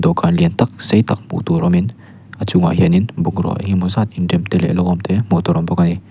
dawhkan lian tak sei tak hmuh tur awm in a chungah hian in bungrau eng emaw zat in rem te leh lo awm te hmuh tur awm bawk ani.